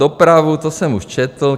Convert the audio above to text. Dopravu, to už jsem četl.